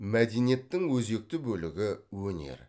мәдениеттің өзекті бөлігі өнер